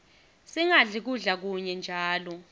singadli kudla kunye njalo